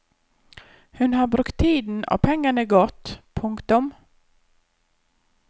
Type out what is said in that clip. Hun har brukt tiden og pengene godt. punktum